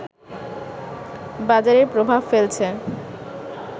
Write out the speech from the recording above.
বাজারে প্রভাব ফেলছে